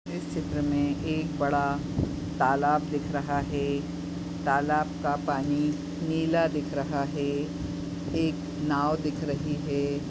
चित्र मे एक बड़ा तालाब दिख रहा है तालाब का पानी नीला दिख रहा है एक नाव दिख रही है।